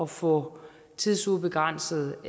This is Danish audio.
få tidsubegrænset